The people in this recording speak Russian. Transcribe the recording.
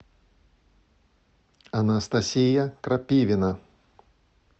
анастасия крапивина